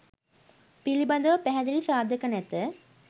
පිළිබඳව පැහැදිලි සාධක නැත.